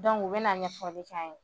Dɔnku n bɛna ɲɛfɔli kɛ an ye.